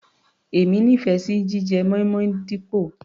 Èmi nífẹ̀ẹ́ sí jíjẹ moin-moin dípò.